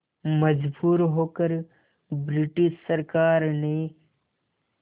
मजबूर होकर ब्रिटिश सरकार ने